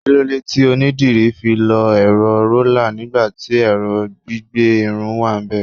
kilode ti onidiri fi lo ero roller nigbati ẹrọ gbígbẹ Irun wanbe